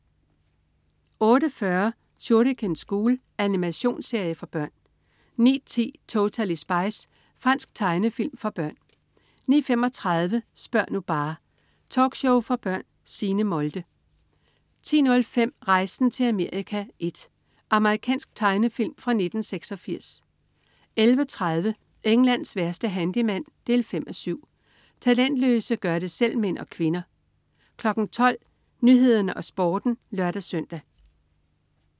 08.40 Shuriken School. Animationsserie for børn 09.10 Totally Spies. Fransk tegnefilm for børn 09.35 Spør' nu bare! Talkshow for børn. Signe Molde 10.05 Rejsen til Amerika I. Amerikansk tegnefilm fra 1986 11.30 Englands værste handyman 5:7. Talentløse gør det selv-mænd og -kvinder 12.00 Nyhederne og Sporten (lør-søn)